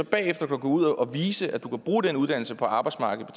bagefter gå ud og vise at man kan bruge den uddannelse på arbejdsmarkedet